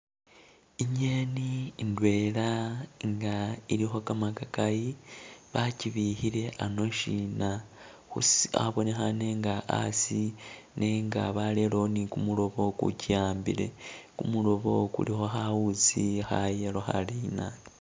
Ingeni indwela nga ilikho kamakakayi bakyibikhile ano'shina khusi abonekhane nga asi nenga balerewo ni kumulobo kukyi ambile kumulobo khulikho khawuzi kha'yellow khalina